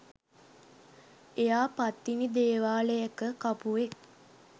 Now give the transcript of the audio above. එයා පත්තිනි දේවාලයක කපුවෙක්